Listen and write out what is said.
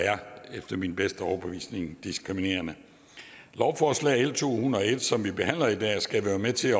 efter min bedste overbevisning er diskriminerende lovforslag l to hundrede og en som vi behandler i dag skal være med til